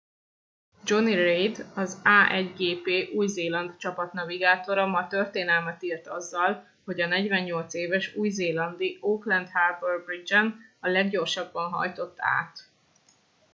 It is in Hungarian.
jonny reid az a1gp új zéland csapat navigátora ma történelmet írt azzal hogy a 48 éves új zélandi auckland harbour bridge en a leggyorsabban hajtott át